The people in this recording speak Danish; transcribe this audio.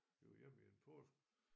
Vi var hjemme en påske